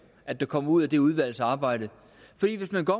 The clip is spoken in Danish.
at der kommer ud af det udvalgsarbejde for hvis man går